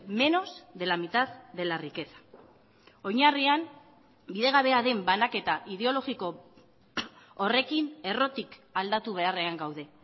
menos de la mitad de la riqueza oinarrian bidegabea den banaketa ideologiko horrekin errotik aldatu beharrean gaude